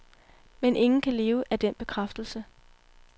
Men ingen kan leve af den bekræftelse.